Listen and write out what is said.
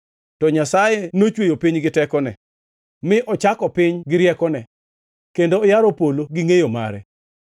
To Nyasaye nochweyo piny gi tekone; ne ochako piny gi riekone, kendo oyaro polo gi ngʼeyo mare.